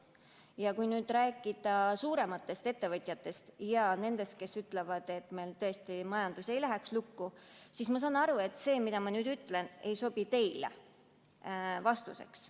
Ja kui rääkida suurematest ettevõtjatest ja nendest, kes ütlevad, et meil tõesti majandus ei tohi lukku minna, siis ma saan aru, et see, mida ma nüüd ütlen, ei sobi teile vastuseks.